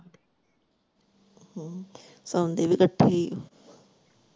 ਹਮ ਸੋਂਦੀ ਵੀ ਤਾਂ ਇੱਥੇ ਈ।